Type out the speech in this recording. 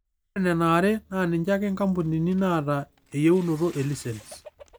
Ore nena are naaninje ake inkampunini naata eyieunoto e lisens.